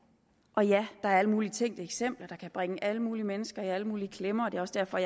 og ja der er alle mulige tænkte eksempler der kan bringe alle mulige mennesker i alle mulige klemmer og det er også derfor